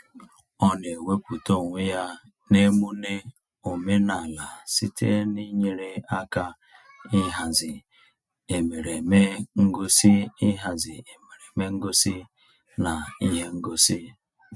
Ọ na-ewepụta onwe ya n'emune omenaala site n'inyere aka ịhazi emereme ngosi ịhazi emereme ngosi na ihe ngosi.